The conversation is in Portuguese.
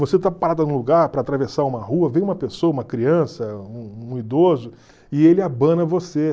Você está parada num lugar para atravessar uma rua, vem uma pessoa, uma criança, um um idoso, e ele abana você.